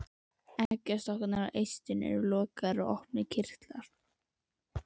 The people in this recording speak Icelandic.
Eggjastokkarnir og eistun eru lokaðir og opnir kirtlar.